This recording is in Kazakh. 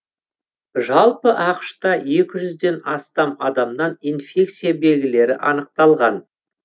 жалпы ақш та екі жүзден астам адамнан инфекция белгілері анықталған